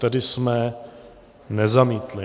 Tedy jsme nezamítli.